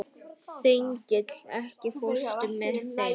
Þengill, ekki fórstu með þeim?